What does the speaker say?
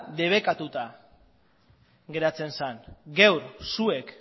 debekatuta geratzen zen gaur zuek